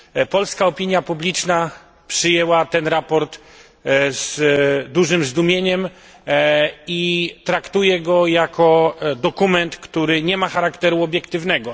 Polska opinia publiczna przyjęła ten raport z dużym zdumieniem i traktuje go jako dokument, który nie ma charakteru obiektywnego.